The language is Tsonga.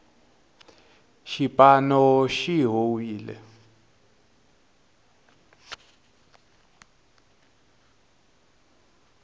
xipano xi howile